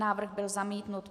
Návrh byl zamítnut.